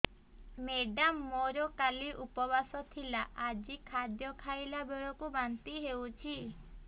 madam ମୋର କାଲି ଉପବାସ ଥିଲା ଆଜି ଖାଦ୍ୟ ଖାଇଲା ବେଳକୁ ବାନ୍ତି ହେଊଛି